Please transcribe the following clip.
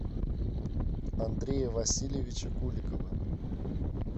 андрея васильевича куликова